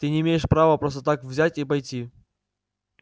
ты не имеешь права просто так взять и пойти